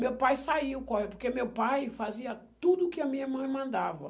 Meu pai saiu, porque meu pai fazia tudo que a minha mãe mandava.